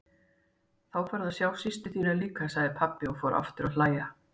Þá færðu að sjá systur þína líka, sagði pabbi og fór aftur að hlæja.